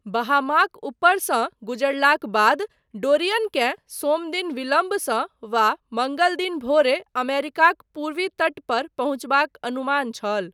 बहामाक ऊपरसँ गुजरलाक बाद डोरियनकेँ सोमदिन विलम्बसँ वा मङ्गलदिन भोरे अमेरिकाक पूर्वी तट पर पहुँचबाक अनुमान छल।